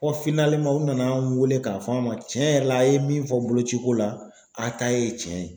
Fɔ u nana an wele k'a fɔ an ma cɛn yɛrɛ la a' ye min fɔ boloci ko la a ta ye cɛn ye.